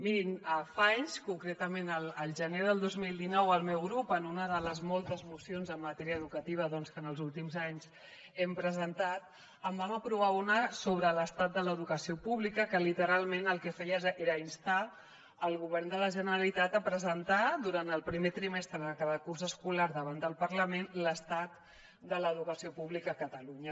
mirin fa anys concretament al gener del dos mil dinou el meu grup en una de les moltes mocions en matèria educativa que en els últims anys hem presentat en vam aprovar una sobre l’estat de l’educació pública que literalment el que feia era instar el govern de la generalitat a presentar durant el primer trimestre de cada curs escolar davant del parlament l’estat de l’educació pública a catalunya